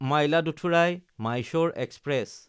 মাইলাদুথুৰাই–মাইছ'ৰ express